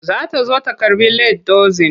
Za ta zo ta karɓi lead dozin.